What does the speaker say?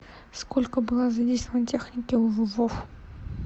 сколько было задействовано техники в вов